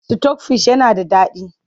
Sitok fish yana da daɗi.